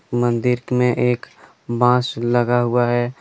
मंदिर्क में एक बांस लगा हुआ है।